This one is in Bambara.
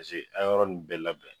Paseke a yɔrɔ nunnu bɛɛ labɛn